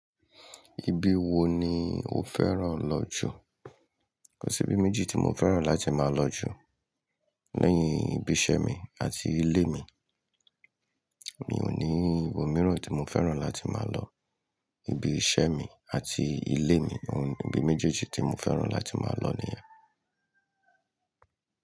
Ibi wo ni o fẹ́ràn lọ jù? Kò sí ibi méjì tí mo fẹ́ràn láti máa lọ jù. Lẹ́yìn ibi iṣẹ́ mi àti ilé mi, mi ò ní ibo míràn tí mo fẹ́ràn láti máa lọ. Ibi iṣẹ́ mi àti ilé mi, òun ni ibi méjèèjì tí mo fẹ́ràn láti máa lọ nìyẹn.